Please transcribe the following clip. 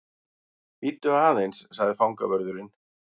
Bíddu aðeins sagði fangavörðurinn.